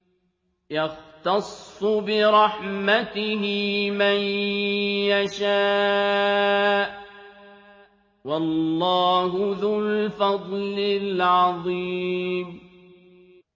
يَخْتَصُّ بِرَحْمَتِهِ مَن يَشَاءُ ۗ وَاللَّهُ ذُو الْفَضْلِ الْعَظِيمِ